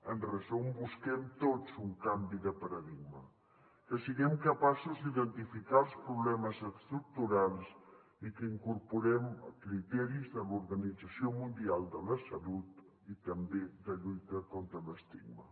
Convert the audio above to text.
en resum busquem tots un canvi de paradigma que siguem capaços d’identificar els problemes estructurals i que incorporem criteris de l’organització mundial de la salut i també de lluita contra l’estigma